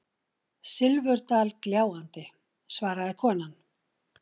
Silfurdal gljáandi, svaraði konan.